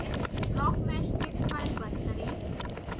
blockmeshdict file बंद करें